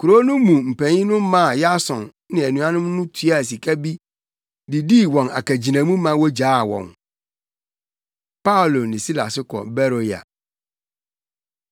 Kurow no mu mpanyin no maa Yason ne anuanom no tuaa sika bi de dii wɔn akagyinamu ma wogyaa wɔn. Paulo Ne Silas Kɔ Beroia